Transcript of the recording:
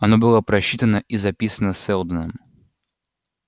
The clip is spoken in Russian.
оно было просчитано и записано сэлдоном